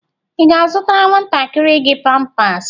Ị ga-azụtara nwantakịrị gị pampas?